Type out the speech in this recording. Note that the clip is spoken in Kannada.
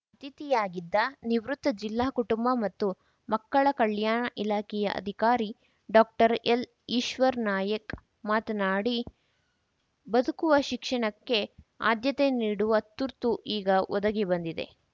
ಅತಿಥಿಯಾಗಿದ್ದ ನಿವೃತ್ತ ಜಿಲ್ಲಾ ಕುಟುಂಬ ಮತ್ತು ಮಕ್ಕಳ ಕಲ್ಯಾಣ ಇಲಾಖೆಯ ಅಧಿಕಾರಿ ಡಾಕ್ಟರ್ ಎಲ್‌ ಈಶ್ವರ್‌ನಾಯ್ಕ ಮಾತನಾಡಿ ಬದುಕುವ ಶಿಕ್ಷಣಕ್ಕೆ ಆದ್ಯತೆ ನೀಡುವ ತುರ್ತು ಈಗ ಒದಗಿ ಬಂದಿದೆ